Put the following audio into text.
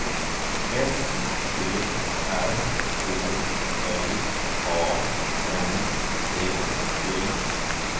S T R Å L A N D E